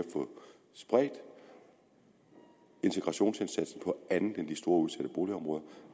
få spredt integrationsindsatsen på andet end de store udsatte boligområder